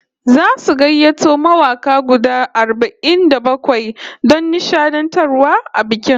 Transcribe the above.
Zasu gayyato mawaka guda arba'in da bakwai don nishadantarwa a bikin